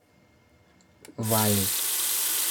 вали